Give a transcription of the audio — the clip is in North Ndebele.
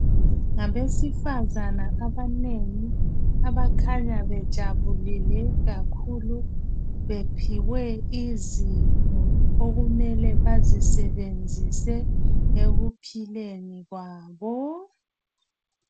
Ngabesifazana abanengi abakhanya bejabulile kakhulu bephiwe izipho okumele bazisebenzise ekuphileni kwabo